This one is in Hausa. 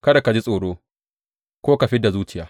Kada ka ji tsoro ko ka fid da zuciya.